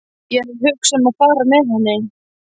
Ég er að hugsa um að fara með henni.